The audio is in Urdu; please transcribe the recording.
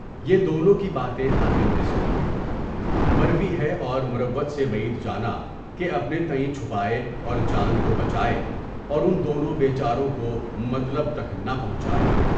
یہ دونوں کی باتیں حاتم نے سنیں، مروی ہے اور مروت سے بعید جانا کہ اپنے تائیں چھپائے اور جان کو بچائے اور ان دونوں بے چاروں کو مطلب تک نہ پہنچائے۔